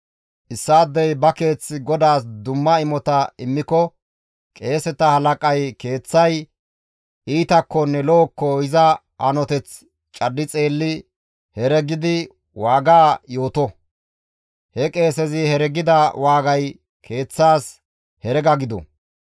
« ‹Issaadey ba keeth GODAAS dumma imota immiko qeeseta halaqay keeththay iitakkonne lo7okko iza hanoteth caddi xeelli heregidi waaga yooto; he qeesezi heregida waagay keeththaas herega gido.